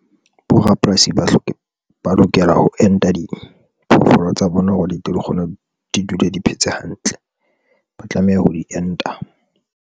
Bo rapolasi ba lokela ho enta diphoofolo tsa bona, hore di tle di kgone di dule di phetse hantle, ba tlameha ho di enta.